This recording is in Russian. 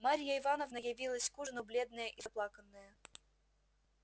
марья ивановна явилась к ужину бледная и заплаканная